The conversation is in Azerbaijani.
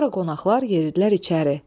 Sonra qonaqlar yeridilər içəri.